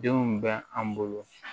Denw bɛ an bolo